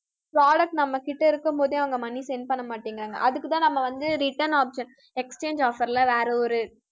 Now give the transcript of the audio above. product நம்மகிட்ட இருக்கும்போது அவங்க money send பண்ணமாட்டேங்கிறாங்க அதுக்குத்தான் நம்ம வந்து, return option exchange offer ல வேற ஒரு